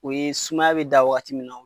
U ye sumaya be da wagati mun na